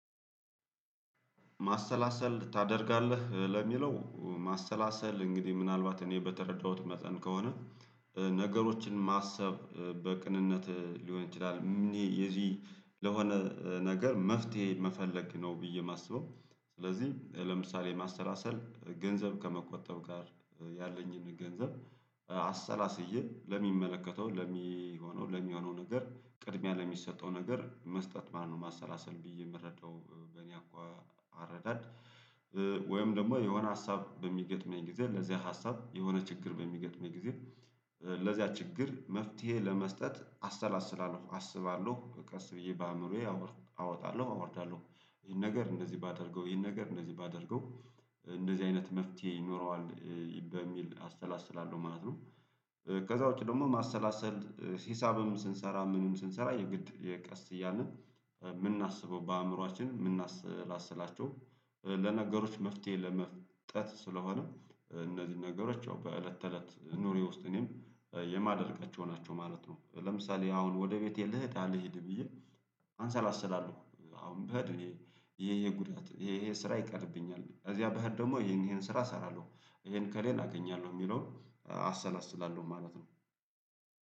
ማሰላሰል ታደርጋለህ ለሚለው ማሰላሰል እንግዲህ ምናልባት እኔ በተረዳሁት መጠን ከሆነ ነገሮችን ማሰብ በቅንነት ሊሆን ይችላል የዚህ ለሆነ ነገር መፍትሄ መፈለግ ነው ብዬ ማስበው ስለዚህ ለምሳሌ ማሰላሰል ገንዘብ ከመቆጠብ ጋር ያለኝን ገንዘብ አሰላስዬ ለሚመለከተው ለሚሆነው ለሚሆነው ነገር ቅድሚያ ለሚሰጠው ነገር መስጠት ማለት ነው ማሰላሰል ብዬ ምረዳው በእኔ አኳ አረዳድ ወይም ደግሞ የሆነ ሀሳብ በሚገጥመኝ ጊዜ ለዚያ ሀሳብ የሆነ ችግር በሚገጥመኝ ጊዜ ለዚያ ችግር መፍትሄ ለመስጠት አሰላስላለሁ አስባለሁ ቀስ ብዬ በአእምሮዬ አወጣለሁ አወርዳለሁ ይሄን ነገር እንደዚህ ባደርገው ይሄን ነገር እንደዚህ ባደርገው እንደዚህ አይነት መፍትሄ ይኖረዋል በሚል አሰላስላለሁ ማለት ነው። ከዛ ውጪ ደግሞ ማሰላሰል ሂሳብም ስንሰራ ምንም ስንሰራ የግድ የቀስ እያልን የምናስበው በአእምሮአችን የምናሰላስላቸው ለነገሮች መፍትሄ ለመስጠት ስለሆነ እነዚህ ነገሮች ያው በእለት ተእለት ኑሮዬ ውስጥ እኔም የማደርጋቸው ናቸው ማለት ነው ለምሳሌ አሁን ወደ ቤቴ ልሂድ አልሂድ ብዬ አሰላስላለሁ አሁን ብሄድ ይሄ ይሄ ጉድለት ይሄ ይሄ ስራ ይቀርብኛል እዚያ ብሄድ ደግሞ ይሄን ይሄን ስራ እሰራለሁ ይሄን ከሌላ አገኛለሁ የሚለውን አሰላስላለሁ ማለት ነው።